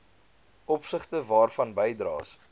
opsigte waarvan bydraes